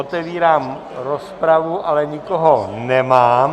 Otevírám rozpravu, ale nikoho nemám.